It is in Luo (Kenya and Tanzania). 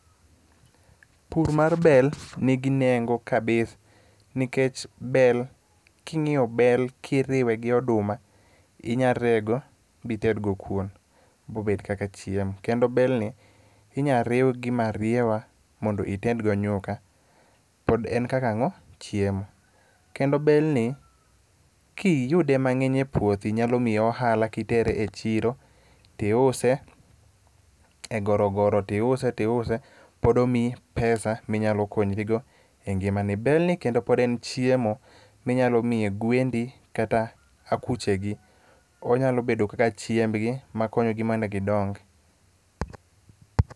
Pur mar bel nigi nengo kabisa nikech bel, king'iyo bel kiriwe gi oduma inya rego bited go kuon bobed kaka chiemo. Kendo belni inya riw gi marieba mondo ited go nyuka. pod en kaka ang'o?,chiemo. Kendo belni, kiyude mang'eny e puothi, nyalo miyi ohala kitere e chiro, tiuse e gorogoro tiuse tiuse, pod omiyi pesa minyalo konyrigo e ngimani. Belni pod en chiemo minyalo mi gwendi kata akuchegi. Onyalo bedo kaka chiembgi ma konyogi mondo gindong.